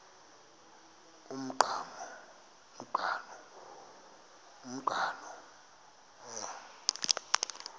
umqhano